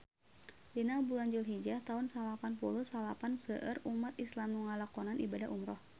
Dina bulan Dulhijah taun salapan puluh salapan seueur umat islam nu ngalakonan ibadah umrah